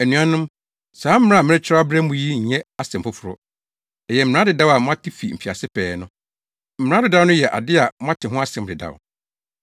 Anuanom, saa mmara a merekyerɛw abrɛ mo yi nyɛ asɛm foforo. Ɛyɛ mmara dedaw a moate fi mfiase pɛɛ no. Mmara dedaw no yɛ ade a moate ho asɛm dedaw.